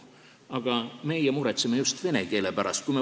Aga meie muretseme just vene keele pärast.